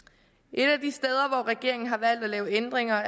et af de steder hvor regeringen har valgt at lave ændringer